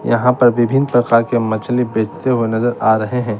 यहां पर विभिन्न प्रकार के मछली बेचते हुए नजर आ रहे हैं।